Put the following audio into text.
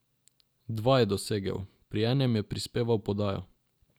Dva je dosegel, pri enem je prispeval podajo.